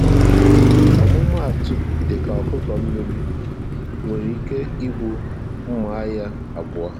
ọmụmaatụ dịka ọkụkọ mmiri, nwere ike ịbụ mma agha abụọ